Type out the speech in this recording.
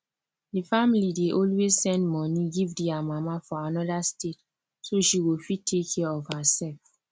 the family dey always send money give their mama for another state so she go fit take care of herself